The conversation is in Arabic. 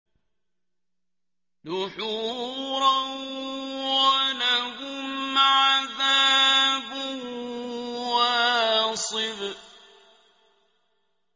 دُحُورًا ۖ وَلَهُمْ عَذَابٌ وَاصِبٌ